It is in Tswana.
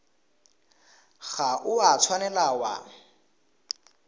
ga o a tshwanela wa